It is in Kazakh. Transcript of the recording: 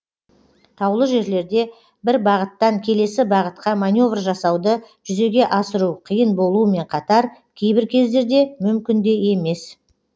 таулы жерлерде бір бағыттан келесі бағытқа маневр жасауды жүзеге асыру қиын болуымен катар кейбір кездерде мүмкін де емес